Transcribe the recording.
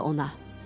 ona.